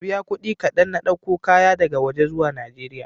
Ka biya kuɗi kaɗan na ɗauko kayan daga waje zuwa Najeriya.